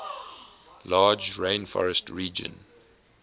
large rainforest region